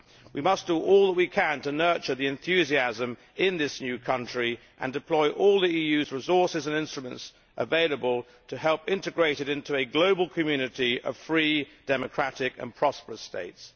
We must do all that we can to nurture the enthusiasm in this new country and deploy all the EU's resources and instruments available to help integrate it into a global community of free, democratic and prosperous states.